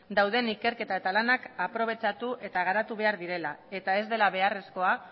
dauden ikerketa eta lanak aprobetxatu eta garatu behar direla eta ez dela beharrezkoa